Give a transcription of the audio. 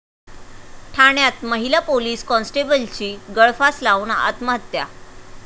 ठाण्यात महिला पोलीस कॉन्स्टेबलची गळफास लावून आत्महत्या